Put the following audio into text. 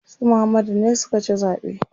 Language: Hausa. Su Muhammadu ne suka ci zaɓe.